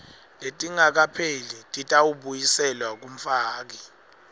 letingakapheleli titawubuyiselwa kumfaki